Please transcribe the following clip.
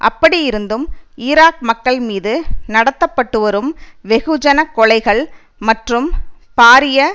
அப்படியிருந்தும் ஈராக் மக்கள் மீது நடத்த பட்டுவரும் வெகுஜன கொலைகள் மற்றும் பாரிய